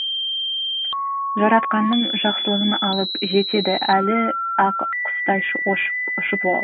жаратқанның жақсылығын алып жетеді әлі ақ құстай ұшып ол